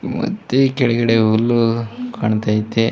ಮತ್ತೆ ಕೆಳಗಡೆ ಹುಲ್ಲುಕಾಣ್ತಾಐತೆ.